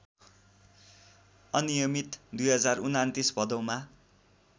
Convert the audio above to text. अनियमित २०२९ भदौमा